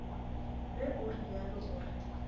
ge o realo o re